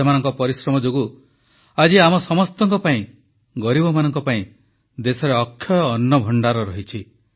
ସେମାନଙ୍କ ପରିଶ୍ରମ ଯୋଗୁଁ ଆଜି ଆମ ସମସ୍ତଙ୍କ ପାଇଁ ଗରିବମାନଙ୍କ ପାଇଁ ଦେଶରେ ଅକ୍ଷୟ ଅନ୍ନ ଭଣ୍ଡାର ରହିଛି